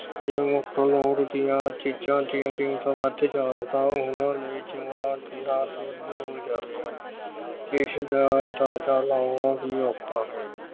ਜੇ ਮੁੱਖ ਲੋੜ ਦੀਆਂ ਚੀਜਾਂ ਦੀਆਂ ਕੀਮਤਾਂ ਵੱਧ ਜਾਣ ਤਾਂ ਉਹਨਾਂ ਲਈ ਜੀਉਣਾ ਦੁੱਬਰ ਹੋ ਜਾਵੇਗਾ। ਇਸ ਦਾ ਅੰਦਾਜਾ ਲਗਾਉਣਾ ਹੀ ਔਖਾ ਹੈ।